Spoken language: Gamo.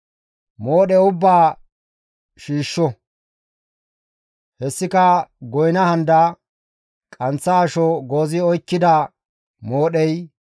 Moodhe ubbaa shiishsho; hessika goyna handa, qanththa asho goozi oykkida moodhey,